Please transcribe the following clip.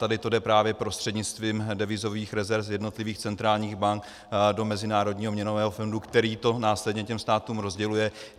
Tady to jde právě prostřednictvím devizových rezerv z jednotlivých centrálních bank do Mezinárodního měnového fondu, který to následně těm státům rozděluje.